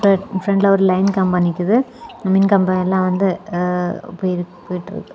ஃப்ரண்ட்ல ஒரு லைன் கம்பம் நிக்குது மின்கம்பம் எல்லா வந்து அ போய் போய்ட்டுருக்கு.